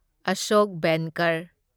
Ashok Benkar